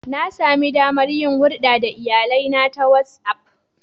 Na sami damar yin hulɗa da iyalina ta WhatsAff.